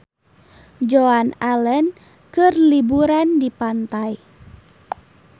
Joan Allen keur liburan di pantai